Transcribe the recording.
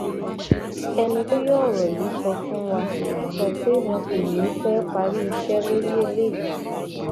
ẹni tó yọ ọrọ yìí sọ fún wa sọ pé wọn kò ní í pẹẹ parí iṣẹ lórí eléyìí